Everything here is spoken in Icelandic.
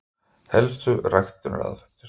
Helstu ræktunaraðferðir: